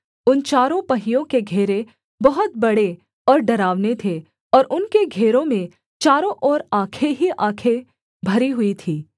उन चारों पहियों के घेरे बहुत बड़े और डरावने थे और उनके घेरों में चारों ओर आँखें ही आँखें भरी हुई थीं